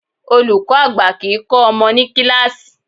Olùkọ́ àgbà kìí kọ́ ọmọ ní kíláàsì.